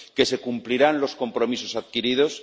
que se cumplirán los compromisos adquiridos